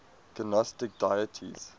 gnostic deities